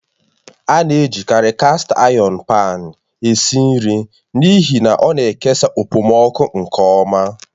A na-ejikarị kast ayọn paan esi ísì nri n'ihi na ọna ikesa okpomọkụ nke ọma